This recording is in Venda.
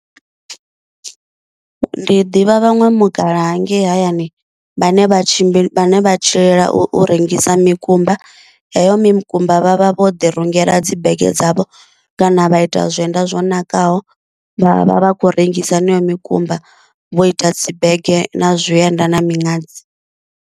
Ndi ḓivha vhaṅwe mukalaha hangei hayani vhane vha tshi vhane vha tshilela u rengisa mikumba, heyo mikumba vhavha vho ḓi rungela dzi bege dzavho kana vha ita zwienda zwo nakaho, vha vha vha khou rengisa heneyo mikumba vho ita dzi bege na zwienda na miṅadzi.